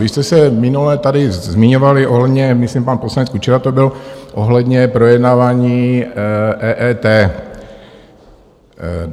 Vy jste se minule tady zmiňovali ohledně, myslím pan poslanec Kučera to byl, ohledně projednávání EET.